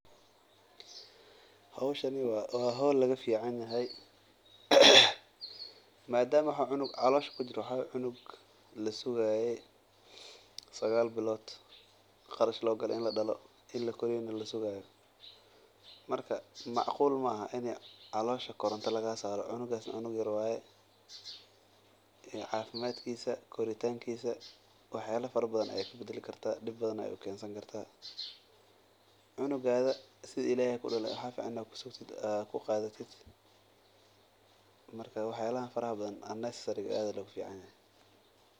Howshan waa howl laga fican yahay madama cunuga waa cunug lasugaaye macquul Mahan in koronta caloosha laga saaro cafimaadkiisa dib ayeey ukeeni kartaa sidi ilaheey kusiiye inaad kusigto waaye wax yaabaha aad ayaa looga fican yahay.